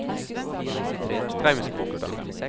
Straumsbukta